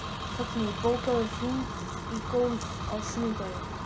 Högni, bókaðu hring í golf á sunnudaginn.